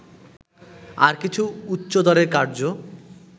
আর কিছু উচ্চদরের কার্য্য